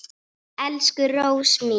Elsku Rósa mín.